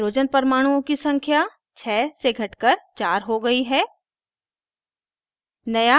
hydrogen परमाणुओं की संख्या 6 से atoms कर 4 हो गयी है